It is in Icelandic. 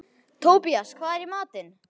Tobías, hvað er í matinn?